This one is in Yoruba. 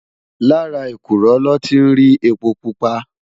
Làrá ékúrò lò ti n ri épó púpá